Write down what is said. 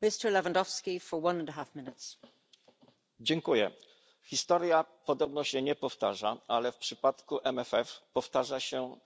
Pani Przewodnicząca! Historia podobno się nie powtarza, ale w przypadku WRF powtarza się